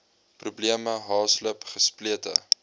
probleme haaslip gesplete